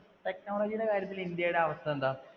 technology യുടെ കാര്യത്തിൽ India യുടെ അവസ്ഥ എന്താ?